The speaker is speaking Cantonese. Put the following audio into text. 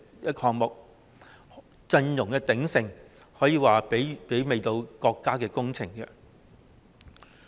支持者陣容之鼎盛，可說是媲美國家工程。